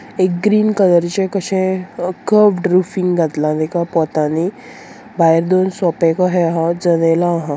एक ग्रीन कलरचे कशे अ कवड रूफिंग घातला तेका पोतानी भायर दोन सोपे को हे हा जनेला आहा.